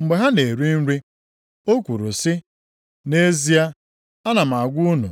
Mgbe ha na-eri nri, o kwuru sị, “Nʼezie ana m agwa unu,